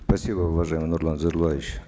спасибо уважаемый нурлан зайроллаевич